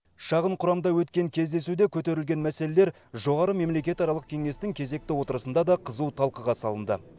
шағын құрамда өткен кездесуде көтерілген мәселелер жоғары мемлекетаралық кеңестің кезекті отырысында да қызу талқыға салынды